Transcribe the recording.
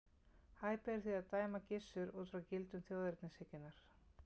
Hæpið er því að dæma Gissur út frá gildum þjóðernishyggjunnar.